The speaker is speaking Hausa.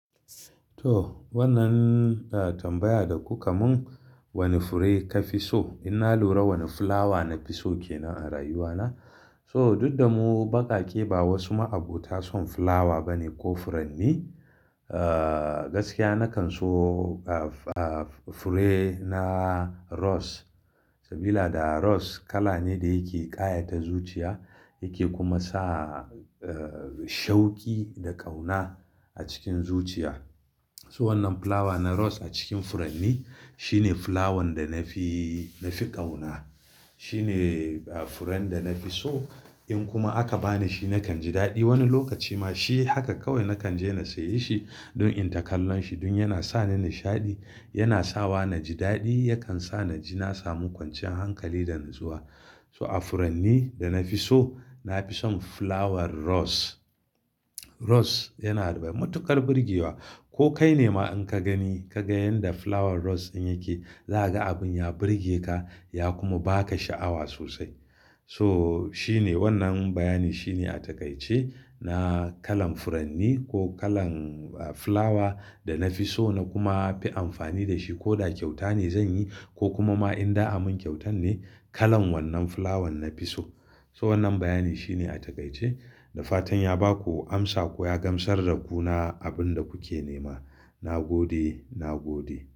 To wannan a tambaya da ku kamun wane fure ka fi so? In na lura wani flower na fi so ke nan a rayuwa na. So duk da mu baƙaƙe ba wasu ma'aɓota son flower bane ko furanni. Eh gaskiya na kan so ah ah fure na rose. Sabida rose kala ne da yake ƙayata zuciya yake kuma sa eh shauki da ƙauna a cikin zuciya. So wannan flower na rose a cikin furanni shi ne flower da na fi, na fi ƙauna. Shi ne ah furen da na fi so. In kuma aka bani shi na kan ji daɗi. Wani lokaci ma shi haka kawai na kan je na sayi shi don in takallon shi, don yana sa ni nishaɗi, yana sawa na ji daɗi, yakan sa na ji na samu kwanciyan hankali da nazuwa. So a furanni da na fi so, na fi son flower rose. Rose yana da matuƙar burge wa. Ko kai ne ma in ka gani, ka ga yanda flower rose in yake za a ga abun ya burge ka ya kuma ba ka sha'awa sosai. So shi ne wannan bayani shi ne a takaice na kalan furanni ko kalan ah flower da na fi so na kuma fi amfani da shi. Ko da kyauta ne zan yi ko kuma ma in da a mun kyautan ne kalan wannan flower na fi so. So wannan bayani shi ne a takaice. Da fatan ya ba ku amsa ko ya gamsar da ku na abun da kuke nema. Na gode, na gode.